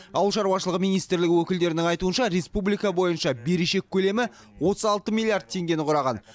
ауыл шаруашылығы министрлігі өкілдерінің айтуынша республика бойынша берешек көлемі отыз алты миллиард теңгені құраған